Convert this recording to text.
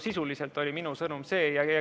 Sisuliselt oli minu sõnum see.